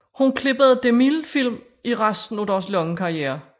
Hun klippede DeMilles film i resten af deres lange karriere